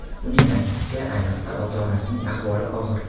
Uning aytishicha, ayniqsa, ota-onasining ahvoli og‘ir.